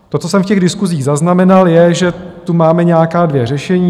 To co jsem z těch diskusí zaznamenal, je, že tu máme nějaká dvě řešení.